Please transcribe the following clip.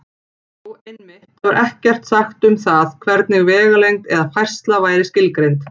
Jú, einmitt: Þar var ekkert sagt um það hvernig vegalengd eða færsla væri skilgreind!